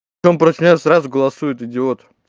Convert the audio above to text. потом против неё сразу голосует идиот